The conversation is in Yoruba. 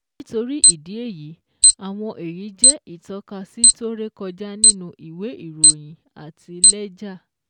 Nítorí ìdí èyí, àwọn èyí jẹ́ ìtọ́kasí tó rékọjá nínú ìwé ìròyìn àti lẹ́jà.